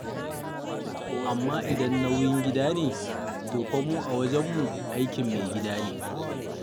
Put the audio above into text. Amma idan nauyin gida ne, to fa mu a wajenmu, aikin mai gida ne.